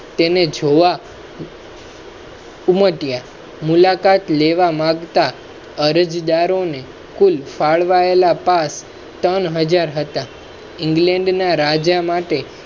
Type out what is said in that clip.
તેને જોવા ઉમટીયા મુલાકાત લેવા માગ તા. અરજદારો ને કુલ એક હાજર england ના રાજા માટે